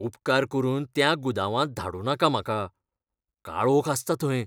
उपकार करून त्या गुदावांत धाडूं नाका म्हाका. काळोख आसता थंय.